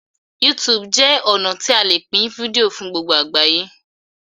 YouTube jé ọnà tí a lẹ Pin fídíò fún gbogbo àgbáyé.